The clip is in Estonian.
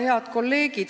Head kolleegid!